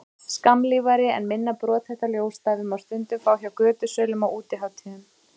skammlífari en minna brothætta ljósstafi má stundum fá hjá götusölum á útihátíðum